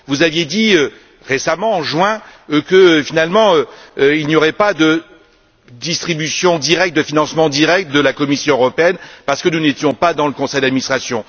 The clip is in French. Vous aviez dit récemment, en juin, que finalement il n'y aurait pas de distribution directe, de financement direct de la Commission européenne, parce que nous n'étions pas dans le conseil d'administration.